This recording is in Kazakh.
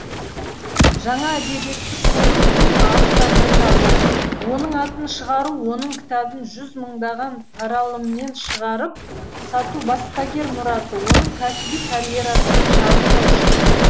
жаңа әдебиетті көру тың авторды табу оның атын шығару оның кітабын жүз мыңдаған таралыммен шығарып сату баспагер мұраты оның кәсіби карьерасының шарықтау шегі